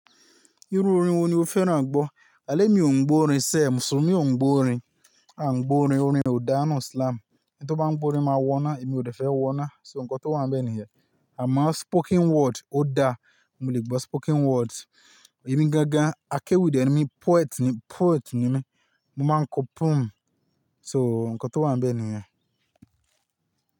Irú orin wo ni o fẹ́ràn gbọ́? Àlé mi ò ń gbọ́ orin sẹ̀, mùsùlùmí mi ò ń gbọ́ orin, à ń gbọ́ orin, orin ò dá nu islam. Ẹni tó bá ń gbọ́ orin máa wọ́ná, èmi ò dẹ́fẹ́ wọ́ná, so nǹkan tó wà níbẹ̀ nìyẹn. Àmá spoken word ó dá, mo lè gbọ́ spoken word. Èmi gángán akéwì de nimi, poet ni, poet ni mí, mo máa ń kọ poem. So ǹkan tó wà ńbẹ̀ nìyẹn.